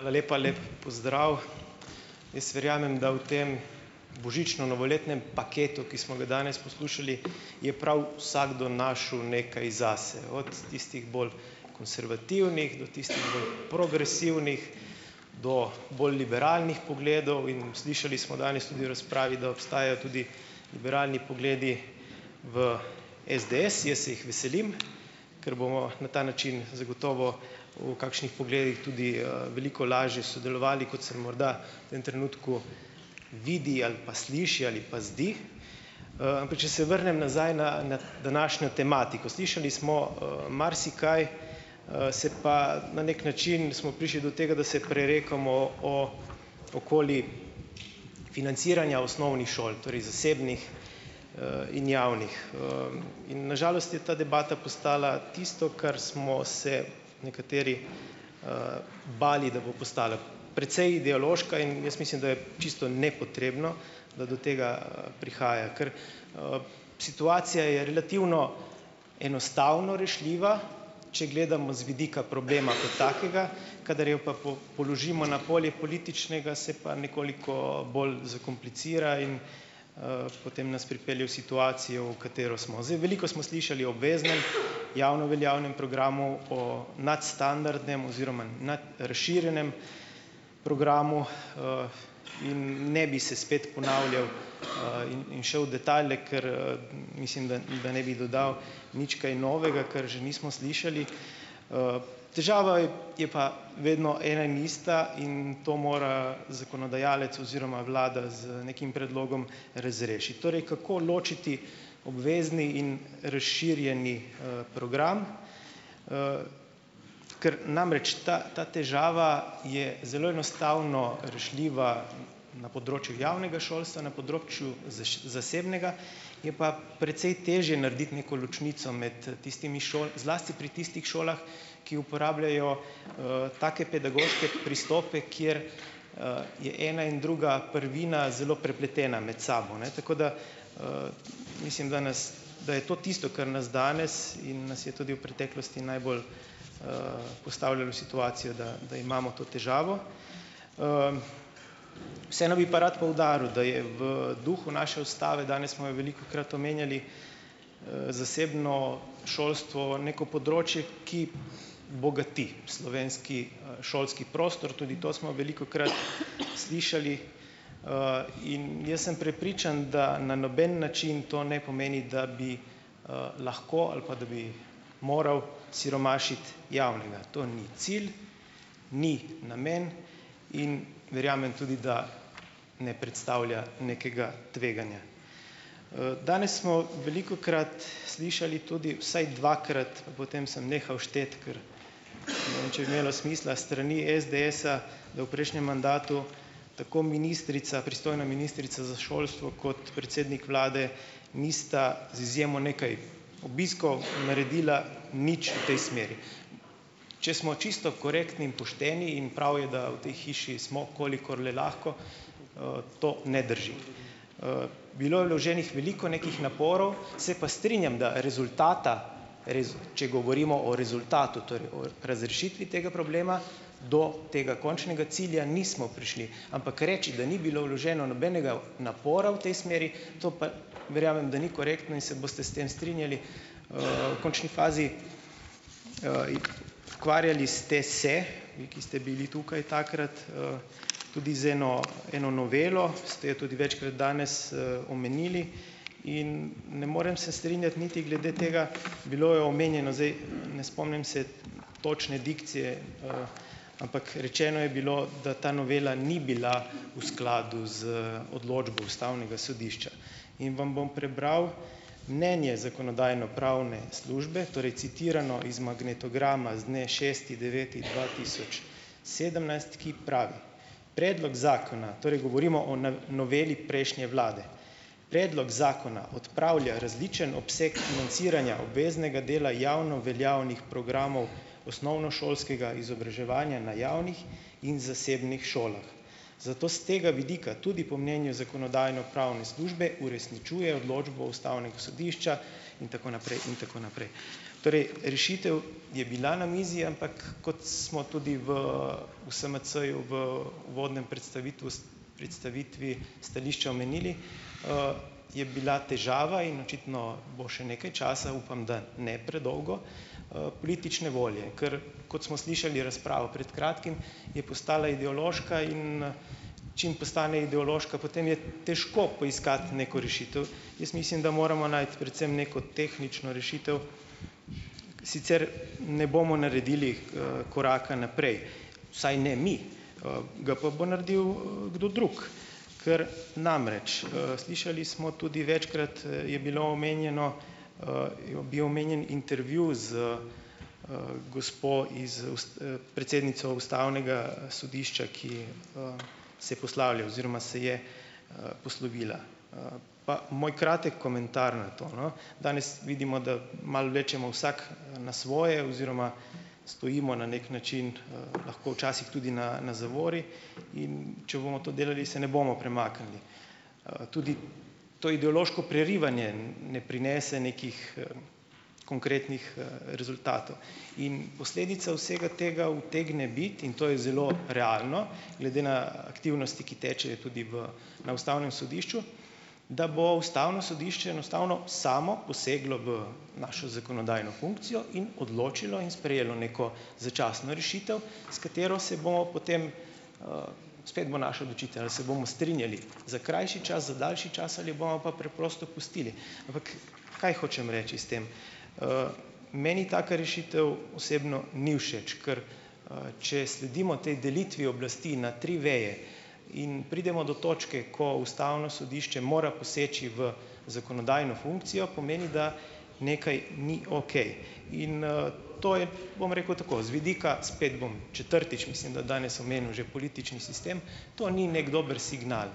Hvala lepa. Lep pozdrav! Jaz verjamem, da v tem božično-novoletnem paketu, ki smo ga danes poslušali, je prav vsakdo našel nekaj zase, od tistih bolj konservativnih do tistih bolj progresivnih, do bolj liberalnih pogledov, in slišali smo danes tudi v razpravi, da obstajajo tudi liberalni pogledi v SDS. Jaz se jih veselim, ker bomo na ta način zagotovo v kakšnih pogledih tudi, veliko lažje sodelovali, kot se morda v tem trenutku vidi ali pa sliši ali pa zdi. Ampak če se vrnem nazaj na, na današnjo tematiko. Slišali smo, marsikaj, se pa na neki način smo prišli do tega, da se prerekamo o okoli financiranja osnovnih šol, torej zasebnih, in javnih. In na žalost je ta debata postala tisto, kar smo se nekateri, bali, da bo postala precej ideološka in jaz mislim, da je čisto nepotrebno, da do tega, prihaja, ker, situacija je relativno enostavno rešljiva, če gledamo z vidika problema kot takega, kadar jo pa položimo na polje političnega, se pa nekoliko bolj zakomplicira in, potem nas pripelje v situacijo, v kateri smo. Zdaj veliko smo slišali o obveznem javno veljavnem programu o nadstandardnem oziroma nadrazširjenem programu, in ne bi se spet ponavljal, in in šel v detajle, ker, mislim, da, da ne bi dodal nič kaj novega, kar že nismo slišali. Težava je, je pa vedno ena in ista in to mora zakonodajalec oziroma vlada z nekim predlogom razrešiti. Torej, kako ločiti obvezni in razširjeni, program, ker namreč, ta, ta težava je zelo enostavno rešljiva na področju javnega šolstva, na področju zasebnega je pa precej težje narediti neko ločnico med tistimi šolami, zlasti pri tistih šolah, ki uporabljajo, take pedagoške pristope, kjer, je ena in druga prvina zelo prepletena med sabo, ne, tako da, mislim, da nas, da je to tisto, kar nas danes in nas je tudi v preteklosti najbolj, postavljalo v situacijo, da, da imamo to težavo. Vseeno bi pa rad poudaril, da je v duhu naše ustave, danes smo jo velikokrat omenjali, zasebno šolstvo neko področje, ki bogati slovenski, šolski prostor. Tudi to smo velikokrat slišali, in jaz sem prepričan, da na noben način to ne pomeni, da bi, lahko ali pa da bi moralo siromašiti javnega. To ni cilj. Ni namen in verjamem tudi, da ne predstavlja nekega tveganja. Danes smo velikokrat slišali tudi, vsaj dvakrat, potem sem nehal šteti, ker ne vem, če je imelo smisla s strani SDS-a, da v prejšnjem mandatu tako ministrica, pristojna ministrica za šolstvo, kot predsednik vlade nista, z izjemo nekaj obiskov, naredila nič v tej smeri. Če smo čisto korektni in pošteni, in prav je, da v tej hiši smo, kolikor le lahko, to ne drži. Bilo je vloženih veliko nekih naporov, se pa strinjam, da rezultata, res, če govorimo o rezultatu, torej o razrešitvi tega problema, do tega končnega cilja nismo prišli, ampak reči, da ni bilo vloženo nobenega napora v tej smeri, to pa, verjamem, da ni korektno, in se boste s tem strinjali. V končni fazi, ukvarjali ste se, vi, ki ste bili tukaj takrat, tudi z eno, eno novelo. Ste jo tudi večkrat danes, omenili in ne morem se strinjati niti glede tega, bilo je omenjeno, zdaj, ne spomnim se točne dikcije, ampak rečeno je bilo, da ta novela ni bila v skladu z odločbo ustavnega sodišča, in vam bom prebral mnenje zakonodajno-pravne službe, torej citirano iz magnetograma, z dne šesti deveti dva tisoč sedemnajst, ki pravi: "Predlog zakona," torej govorimo o na, noveli prejšnje vlade, "predlog zakona odpravlja različen obseg financiranja obveznega dela javno veljavnih programov osnovnošolskega izobraževanja na javnih in zasebnih šolah. Zato s tega vidika tudi po mnenju zakonodajno-pravne službe, uresničuje odločbo ustavnega sodišča." In tako naprej in tako naprej. Torej, rešitev je bila na mizi, ampak kot smo tudi v v SMC-ju, v uvodnem pretstavitvus, predstavitvi stališča omenili, je bila težava in očitno bo še nekaj časa, upam, da ne predolgo, politične volje. Ker kot smo slišali razpravo pred kratkim, je postala ideološka in, čim postane ideološka, potem je težko poiskati neko rešitev. Jaz mislim, da moramo najti predvsem neko tehnično rešitev, sicer ne bomo naredili, koraka naprej. Vsaj ne mi, ga pa bo naredil, kdo drug, ker namreč, slišali smo, tudi večkrat, je bilo omenjeno, je bil omenjen intervju z, gospo iz predsednico ustavnega, sodišča, ki, se postavlja oziroma se je, poslovila, pa moj kratek komentar na to, no. Danes vidimo, da malo vlečemo vsak, na svoje oziroma stojimo na neki način, lahko včasih tudi na, na zavori, in če bomo to delali, se ne bomo premaknili. Tudi to ideološko prerivanje, ne prinese nekih, konkretnih, rezultatov in posledica vsega tega utegne biti, in to je zelo realno, glede na aktivnosti, ki tečejo tudi v, na ustavnem sodišču, da bo ustavno sodišče enostavno samo poseglo v našo zakonodajno funkcijo in odločilo in sprejelo neko začasno rešitev, s katero se bomo potem, spet bo naša odločitev, ali se bomo strinjali, za krajši čas, za daljši čas, ali bomo pa preprosto pustili, ampak, kaj hočem reči s tem. Meni taka rešitev osebno ni všeč, ker, če sledimo tej delitvi oblasti na tri veje, in pridemo do točke, ko ustavno sodišče mora poseči v zakonodajno funkcijo, pomeni, da nekaj ni okej. In, to je, bom rekel tako, z vidika spet bom, četrtič mislim, da danes, omenil že politični sistem, to ni neki dober signal,